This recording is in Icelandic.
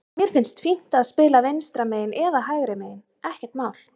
Mér finnst fínt að spila vinstra megin eða hægra megin, ekkert mál.